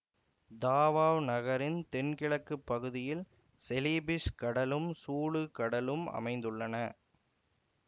Tawau நகரின் தென் கிழக்கு பகுதியில் செலிபிஸ் கடலும் சூலு கடலும் அமைந்துள்ளன